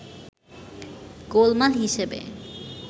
গোলমাল হিসেবে